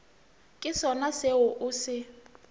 ke sona seo o se